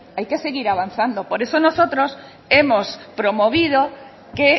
hay que seguir avanzando por eso nosotros hemos promovido que